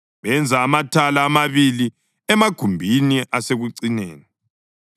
benza amathala amabili emagumbini asekucineni.